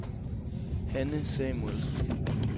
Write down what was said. Hanne Samuelsen